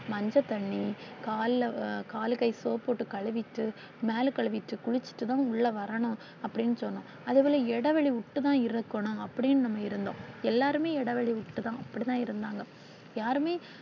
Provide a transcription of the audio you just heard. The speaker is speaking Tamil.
மஞ்ச தண்ணி ~ கால்ல ~ கால், கை soap போட்டு கழுவிட்டு, மேல கழுவிட்டு, குளிச்சிட்டுத்தான் உள்ள வரணும் அப்படினு சொன்னோம். அதேபோல இடைவெளி விட்டு தான் இருக்கணும். அப்படின்னு நாம இருந்தோம். எல்லாருமே இடைவெளி விட்டு தான் அப்படி தான் இருந்தாங்க. யாருமே